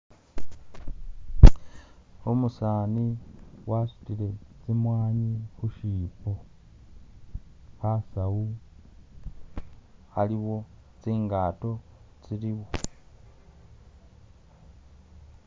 Umusani wasutile tsi mwani khushipo khasawu khaliwo tsingato tsili khu